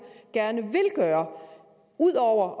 gerne vil gøre ud over